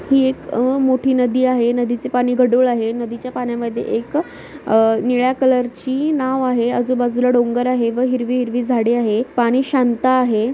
ही एक अह मोठी नदी आहे नदीचे पाणी गढूळ आहे नदीच्या पाण्यामध्ये एक अह निळ्या कलर ची नाव आहे आजूबाजूला डोंगर आहे व हिरवि-हिरवी झाडे आहे पाणी शांत आहे.